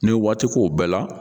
N'i ye waati k'o bɛɛ la